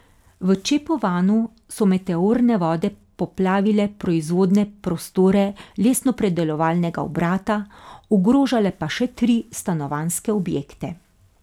V Čepovanu so meteorne vode poplavile proizvodne prostore lesnopredelovalnega obrata, ogrožale pa še tri stanovanjske objekte.